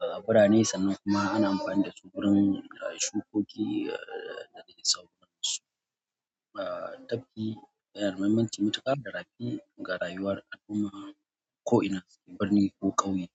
A birane sannan kuma ana amfani da su wurin shukoki da sauransu. A tafki, yana da muhimmanci matuƙa da rafi ga rayuwar al'umma ko'ina su ke, birni ko ƙauye.